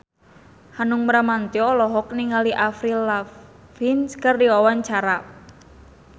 Hanung Bramantyo olohok ningali Avril Lavigne keur diwawancara